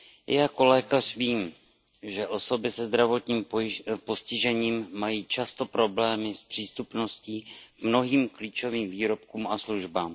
I jako lékař vím, že osoby se zdravotním postižením mají často problémy s přístupností k mnohým klíčovým výrobkům a službám.